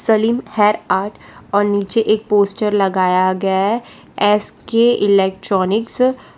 Salim hair art और नीचे एक पोस्टर लगाया गया है एस के इलेक्ट्रॉनिक्स --